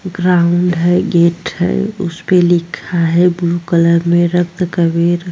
ground है gate है उसपे लिखा है ब्लू कलर में रक्त कबीर --